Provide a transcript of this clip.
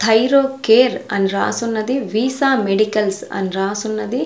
Thyro care అని రాసున్నది visa medicals అని రాసున్నది.